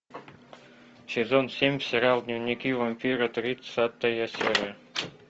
сезон семь сериал дневники вампира тридцатая серия